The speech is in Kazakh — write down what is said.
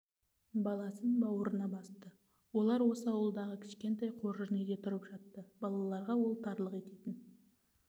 баласын бауырына басты олар осы ауылдағы кішкентай қоржын үйде тұрып жатты балаларға ол тарлық ететін